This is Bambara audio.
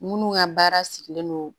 Minnu ka baara sigilen don